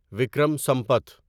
Vikram Sampath